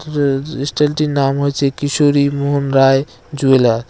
জ জ স্টেলটির নাম হয়েছে কিশোরী মোহনরায় জুয়েলার ।